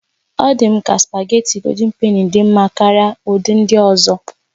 Ọ̀ dị m ka spugeetí Gòldin Penì dị mma karịa ụdị ndị ọzọ